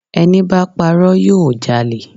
Ẹníbá parọ́ yóò jalè